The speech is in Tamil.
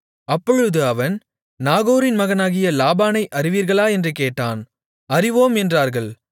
அப்பொழுது அவன் நாகோரின் மகனாகிய லாபானை அறிவீர்களா என்று கேட்டான் அறிவோம் என்றார்கள்